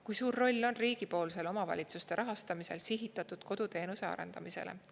Kui suur roll on riigipoolsel omavalitsuste rahastamisel sihitatud koduteenuse arendamisele?